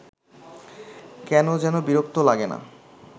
কেন যেন বিরক্ত লাগে না